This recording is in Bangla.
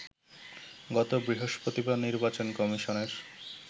গত বৃহস্পতিবার নির্বাচন কমিশনের